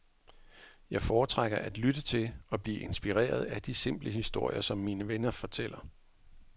Jeg foretrækker at lytte til og blive inspireret af de simple historier, som mine venner fortæller.